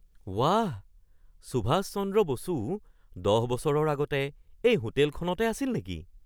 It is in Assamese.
ৱাহ! সুভাষ চন্দ্ৰ বসুও ১০ বছৰৰ আগতে এই হোটেলখনতে আছিল নেকি?